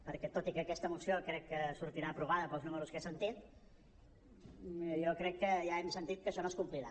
perquè tot i que aquesta moció crec que sortirà aprovada pels números que he sentit jo crec que ja hem sentit que això no es complirà